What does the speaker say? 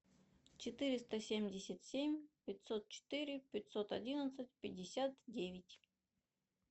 четыреста семьдесят семь пятьсот четыре пятьсот одиннадцать пятьдесят девять